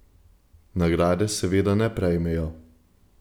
Nagrade seveda ne prejmejo.